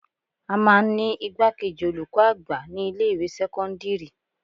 À máa ń ní igbákejì olùkọ́ àgbà ní ilé ìwé sẹ́kọ́ńdírì.